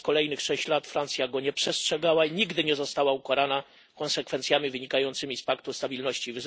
przez kolejnych sześć lat Francja go nie przestrzegała i nigdy nie została ukarana konsekwencjami wynikającymi z paktu stabilności i